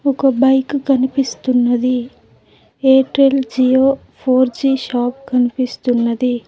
ఒక బైక్ కనిపిస్తున్నది Airtel Jio four G shop కనిపిస్తున్నది.